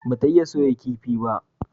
Ba ta iya soya kifi ba?